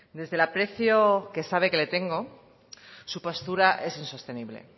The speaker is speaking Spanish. desde el aprecio que sabe que le tengo su postura es insostenible